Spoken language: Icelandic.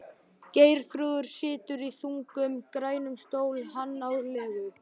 Geirþrúður situr í þungum, grænum stól, hann á legu